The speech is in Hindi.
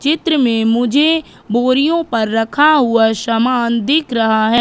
चित्र में मुझे बोरियों पर रखा हुआ सामान दिख रहा है।